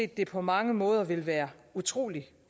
det på mange måder ville være utrolig